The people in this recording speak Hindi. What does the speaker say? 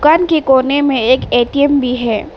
दुकान के कोने में एक ए_टी_एम भी है।